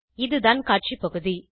இதுதான் காட்சி பகுதி